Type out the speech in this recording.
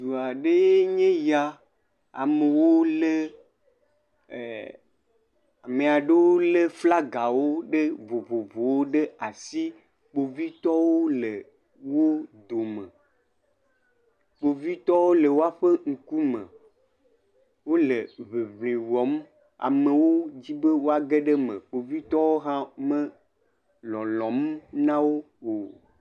Dua aɖee nye ya, amewo lé eee..ame aɖewo lé flagawo ɖe vovovowo ɖe asi kpovitɔwo le wo dome, kpovitɔwo le woƒe ŋkume, wole ŋiŋli wɔm amewo di be woage ɖe eme. Kovitɔ hã melɔlɔm o.